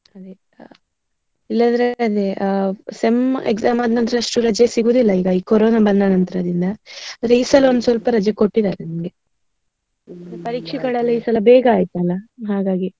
ಅದೇ ಇಲ್ಲದಿದ್ರೆ ಅದೇ sem exam ಆದ್ ನಂತರ ಅಷ್ಟು ರಜೆ ಸಿಗುದಿಲ್ಲ. ಈ ಕೊರೋನಾ ಬಂದ ನಂತರದಿಂದ. ಆದ್ರೆ ಈ ಸಲ ಒಂದು ಸ್ವಲ್ಪ ರಜೆ ಕೊಟ್ಟಿದಾರೆ ನಮ್ಗೆ. ಪರೀಕ್ಷೆಗಳೆಲ್ಲ ಈ ಸಲ ಬೇಗ ಆಯ್ತಲ್ಲ ಹಾಗಾಗಿ.